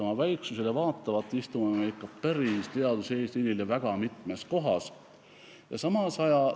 Oma väiksusele vaatamata oleme ikka väga mitmes kohas päris teaduse eesliinil.